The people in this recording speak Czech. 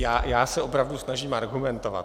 Já se opravdu snažím argumentovat.